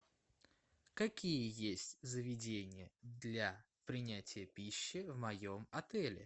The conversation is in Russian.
какие есть заведения для принятия пищи в моем отеле